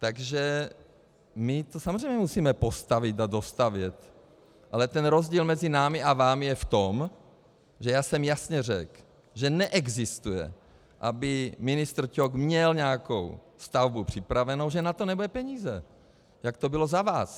Takže my to samozřejmě musíme postavit a dostavět, ale ten rozdíl mezi námi a vámi je v tom, že já jsem jasně řekl, že neexistuje, aby ministr Ťok měl nějakou stavbu připravenu, že na to nebudou peníze, jak to bylo za vás.